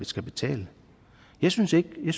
skal betale jeg synes ikke det